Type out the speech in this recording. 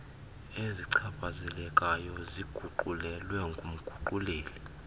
ezichaphazelekayo ziguqulelwe ngumguquleli